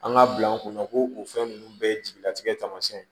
An ka bila an kunna ko o fɛn ninnu bɛɛ jigilatigɛ taamasiyɛn